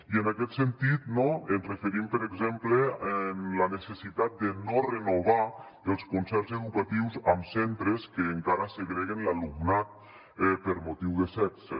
i en aquest sentit no ens referim per exemple a la necessitat de no renovar els concerts educatius amb centres que encara segreguen l’alumnat per motiu de sexe